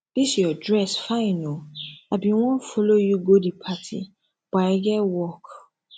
dis your dress fine oo i bin wan follow you go the party but i get work